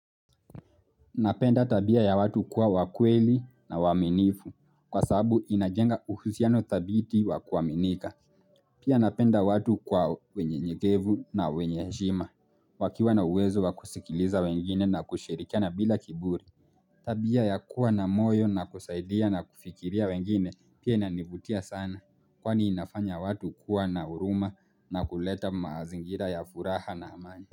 Napenda tabia ya watu kuwa wa kweli na waaminifu kwa sababu inajenga uhusiano thabiti wa kuaminika. Pia napenda watu kwa wenyenyekevu na wenye heshima. Wakiwa na uwezo wa kusikiliza wengine na kushirikana bila kiburi. Tabia ya kuwa na moyo na kusaidia na kufikiria wengine pia inanivutia sana. Kwani inafanya watu kuwa na huruma na kuleta maazingira ya furaha na amani.